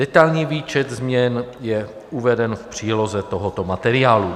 Detailní výčet změn je uveden v příloze tohoto materiálu.